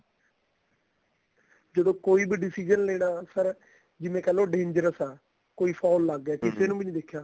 ਜਦੋਂ ਕੋਈ ਵੀ decision ਲੇਣਾ sir ਜਿਵੇਂ ਕਹਿ ਲੋ dangerous ਆ ਕੋਈ foul ਲੱਗ ਗਿਆ ਨੂੰ ਵੀ ਨਹੀਂ ਦਿਖਿਆ